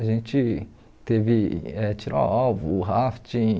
A gente teve eh tiro ao alvo, rafting...